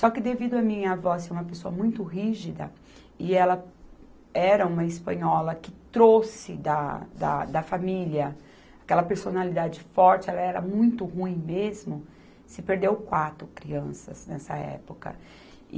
Só que devido a minha avó ser uma pessoa muito rígida, e ela era uma espanhola que trouxe da, da, da família aquela personalidade forte, ela era muito ruim mesmo, se perdeu quatro crianças nessa época.